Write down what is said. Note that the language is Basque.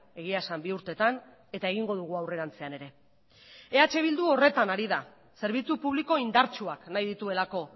egia esan bi urtetan eta egingo dugu aurrerantzean ere eh bildu horretan ari da zerbitzu publiko indartsuak nahi dituelako